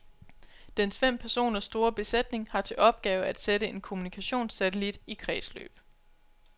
Dens fem personer store besætning har til opgave at sætte en kommunikationssatellit i kredsløb.